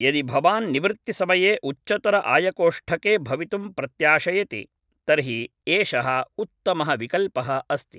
यदि भवान् निवृत्तिसमये उच्चतर आयकोष्ठके भवितुं प्रत्याशयति तर्हि एषः उत्तमः विकल्पः अस्ति